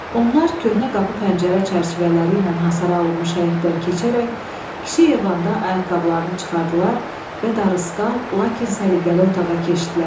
Onlar köhnə qapı-pəncərə çərçivələri ilə hasara alınmış həyətdən keçərək kiçik eyvanda ayaqqabılarını çıxardılar və darısqal, lakin səliqəli otağa keçdilər.